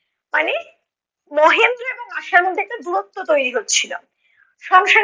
মানে মহেন্দ্র এবং আশার মধ্যে একটা দুরত্ব তৈরি হচ্ছিলো। সংসারের